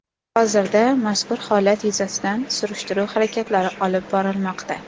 Hozirda mazkur holat yuzasidan surishtiruv harakatlari olib borilmoqda.